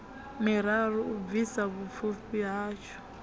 miraru u bvisa vhupfiwa hatsho